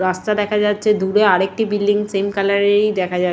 রাস্তা দেখা যাচ্ছে দূরে আর একটি বিল্ডিং সেম কালার -এর ই দেখা যাচ--